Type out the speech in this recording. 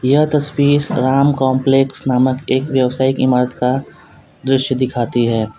यह तस्वीर राम कॉम्प्लेक्स नामक एक व्यावसायिक इमारत का दृश्य दिखाती है।